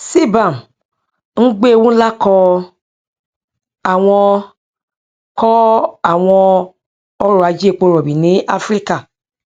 cbam ń gbé ewu ńlá kọ àwọn kọ àwọn ọrọ ajé epo rọbì ní áfíríkà